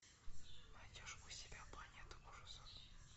найдешь у себя планету ужасов